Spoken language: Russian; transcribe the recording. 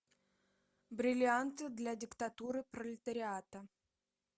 бриллианты для диктатуры пролетариата